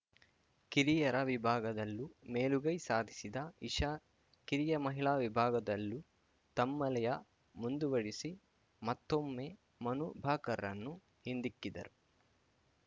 ಕಿರಿಯರ ವಿಭಾಗದಲ್ಲೂ ಮೇಲುಗೈ ಸಾಧಿಸಿದ ಇಶಾ ಕಿರಿಯ ಮಹಿಳಾ ವಿಭಾಗದಲ್ಲೂ ತಮ್ಮ ಲಯ ಮುಂದುವರಿಸಿ ಮತ್ತೊಮ್ಮೆ ಮನು ಭಾಕರ್‌ರನ್ನು ಹಿಂದಿಕ್ಕಿದರು